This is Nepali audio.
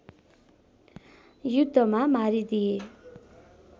युद्धमा मारिदिए